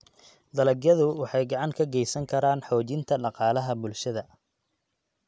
Dalagyadu waxay gacan ka geysan karaan xoojinta dhaqaalaha bulshada.